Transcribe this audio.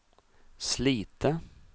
Slite